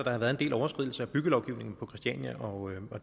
der har været en del overskridelser af byggelovgivningen på christiania og